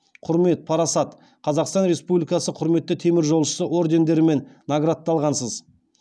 құрмет парасат қазақстан республикасы құрметті теміржолшысы ордендерімен наградталғансыз